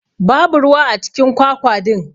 Babu ruwa acikin kwakwa din.